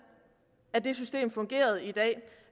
systemet fungerer i dag